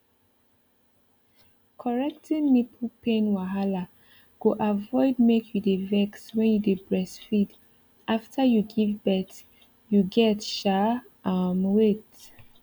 correcting nipple pain wahala go avoid make you dey vex when you dey breastfeed after you give birth you get um um wait